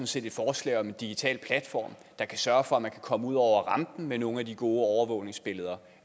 set et forslag om en digital platform der kan sørge for at man kan komme ud over rampen med nogle af de gode overvågningsbilleder